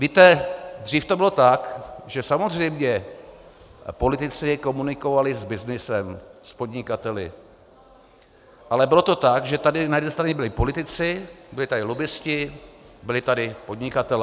Víte, dřív to bylo tak, že samozřejmě politici komunikovali s byznysem, s podnikateli, ale bylo to tak, že tady na jedné straně byli politici, byli tady lobbisti, byli tady podnikatelé.